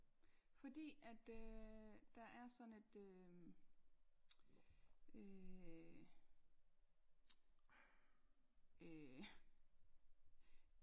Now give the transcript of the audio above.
Fordi at øh der er sådan et øhm øh øh